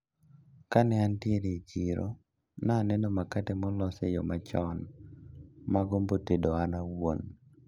Kane antiere e chiro naneno makate molos eyo machon magombo tede an awuon.